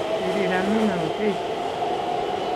Kirir Amina ochei